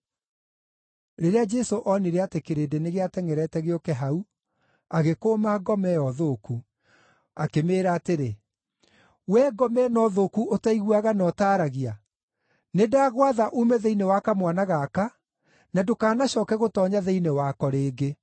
Rĩrĩa Jesũ oonire atĩ kĩrĩndĩ nĩgĩatengʼerete gĩũke hau, agĩkũũma ngoma ĩyo thũku. Akĩmĩĩra atĩrĩ, “Wee ngoma ĩno thũku ũtaiguaga na ũtaaragia, nĩndagwatha uume thĩinĩ wa kamwana gaka, na ndũkanacooke gũtoonya thĩinĩ wako rĩngĩ.”